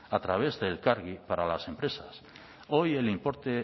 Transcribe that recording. a través de elkargi para las empresas hoy el importe